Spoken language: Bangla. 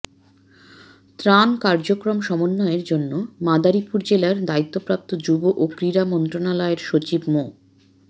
ত্রাণ কার্যক্রম সমন্বয়ের জন্য মাদারীপুর জেলার দায়িতপ্রাপ্ত যুব ও ক্রীড়া মন্ত্রনালয়ের সচিব মো